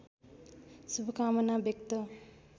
शुभकामना व्यक्त